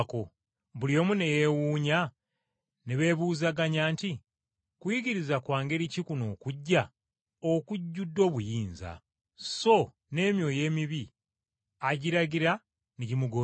Buli omu ne yeewuunya, ne beebuuzaganya nti, “Kuyigiriza kwa ngeri ki kuno okuggya okujjudde obuyinza? So n’emyoyo emibi agiragira ne gimugondera.”